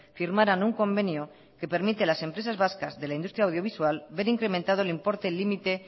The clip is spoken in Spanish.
firmaran un convenio que permite a las empresas vascas de la industria audiovisual ver incrementado el importe límite